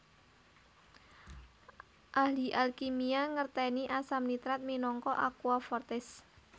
Ahli alkimia ngertèni asam nitrat minangka aqua fortis